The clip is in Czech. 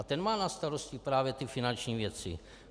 A ten má na starosti právě ty finanční věci.